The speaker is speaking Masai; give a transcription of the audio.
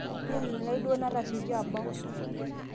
nini lai duo natasioko abau